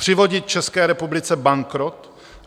Přivodit České republice bankrot?